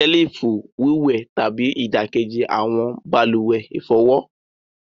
Selifu wíwẹtàbí ni idakeji awọn baluwe ifọwọ.